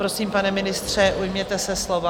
Prosím, pane ministře, ujměte se slova.